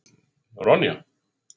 Ronja